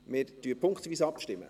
Wir stimmen punktweise ab.